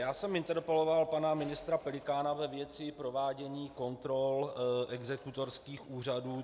Já jsem interpeloval pana ministra Pelikána ve věci provádění kontrol exekutorských úřadů.